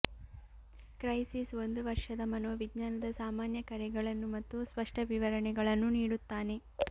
crisis ಒಂದು ವರ್ಷದ ಮನೋವಿಜ್ಞಾನದ ಸಾಮಾನ್ಯ ಕರೆಗಳನ್ನು ಮತ್ತು ಸ್ಪಷ್ಟ ವಿವರಣೆಗಳನ್ನು ನೀಡುತ್ತಾನೆ